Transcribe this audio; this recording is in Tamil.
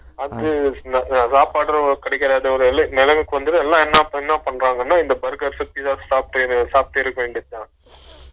அது கிடைக்காத நிலமைக்கு வந்துரும் எல்லா என்னா என்னா பன்றாங்கனா இந்த burger , pizza வ சாப் சாப்ட்டு இருக்க வேண்டியதுதான்